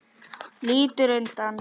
Lítur undan.